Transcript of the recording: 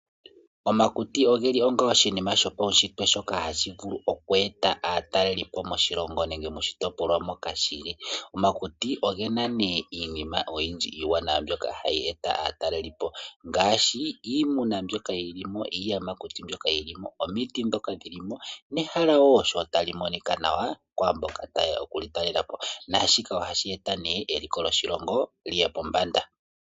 Omakuti ogeli onga oshinima shopawushitwe shoka hashi vulu oku eta aatalelipo moshilongo nenge moshitopolwa moka geli. Omakuti ogena nee iinima oyindji iiwanawa mbyoka hayi eta aatalelipo, ngaashi iimuna mbyoka yilimo, iiyamakuti mbyoka yilimo, omiti dhoka dhilimo nehala wo sho tali monikwa nawa kwaamboka tayeya okuli talelapo. Naashika ohashi eta nee eliko lyoshilongo lyiye pombanda.